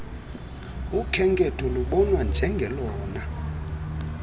ukhenketho lubonwa njengelona